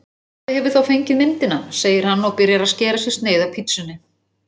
Pabbi hefur þá fengið myndina, segir hann og byrjar að skera sér sneið af pitsunni.